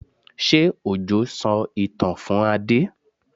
Ṣé Òjó sọ ìtàn fún Adé?